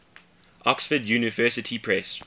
oxford university press